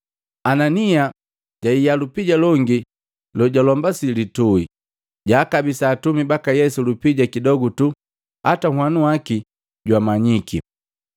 Anania jahia lupia longi lojalombasia lituhi, jwaakabisa atumi baka Yesu lupija kidogu tuu hata ahanu baki bamanyiki.